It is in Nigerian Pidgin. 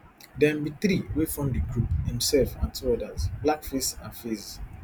dem be three wey form di group himself and two odas blackface and faze